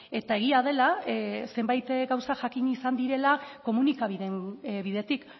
eta egia dela zenbait gauza jakin izan direla komunikabideen bidetik